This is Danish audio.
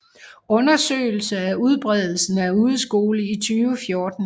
Undersøgelse af udbredelsen af udeskole i 2014